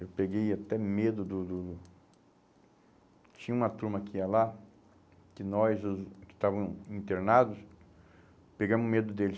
Eu peguei até medo do do... Tinha uma turma que ia lá, que nós os, que estávamos internados, pegamo medo deles.